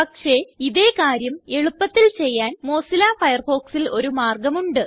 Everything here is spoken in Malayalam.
പക്ഷേ ഇതേ കാര്യം എളുപ്പത്തിൽ ചെയ്യാൻ മൊസില്ല Firefoxൽ ഒരു മാർഗം ഉണ്ട്